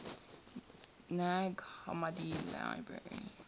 nag hammadi library